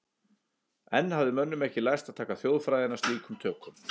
Enn hafði mönnum ekki lærst að taka þjóðfræðina slíkum tökum.